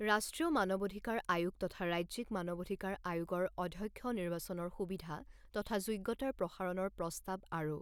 ৰাষ্ট্ৰীয় মানৱ অধিকাৰ আয়োগ তথা ৰাজ্যিক মানৱ অধিকাৰ আয়োগৰ অধ্যক্ষ নিৰ্বাচনৰ সুবিধা তথা যোগ্যতাৰ প্ৰসাৰণৰ প্ৰস্তুাৱ আৰু